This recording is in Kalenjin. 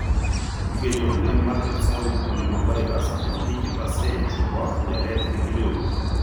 Kigenyorunen Merkel cell polyomavirus en 80% chepo neret nekinyoru.